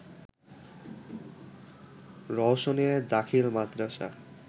রওশনিয়া দাখিল মাদ্রাসা